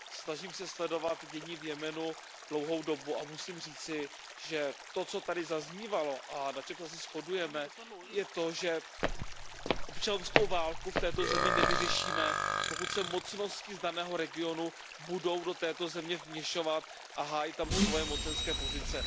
Snažím se sledovat dění v Jemenu dlouhou dobu a musím říci, že to, co zde zaznívalo a na čem se asi shodujeme, je to, že občanskou válku v této zemi nevyřešíme, pokud se mocnosti z daného regionu budou do této země vměšovat a hájit tam svoje mocenské pozice.